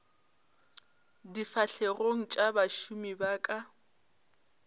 difahlegong tša bašomi ba ka